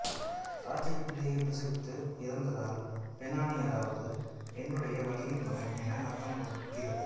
ராகேல் பிள்ளையைப் பிரசவித்து இறந்ததால் பெனோனி அதாவது என்னுடைய வலியின் மகன் என அர்த்தம் கொடுக்கிறது